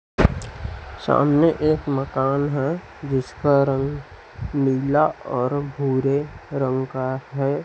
सामने एक मकान है जिसका रंग नीला और भूरे रंग का है।